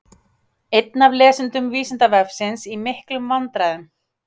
Einn af lesendum Vísindavefsins í miklum vandræðum!